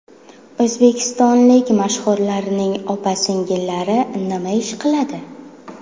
O‘zbekistonlik mashhurlarning opa-singillari nima ish qiladi?